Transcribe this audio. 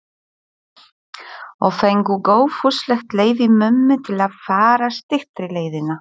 Og fengu góðfúslegt leyfi mömmu til að fara styttri leiðina.